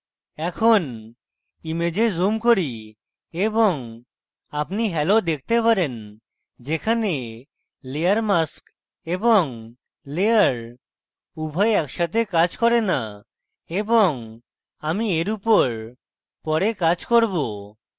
এখন image zoom করি এবং আপনি halo দেখতে পারেন যেখানে layer mask এবং layer উভয় একসাথে কাজ করে না এবং আমি এই উপর পরে কাজ করব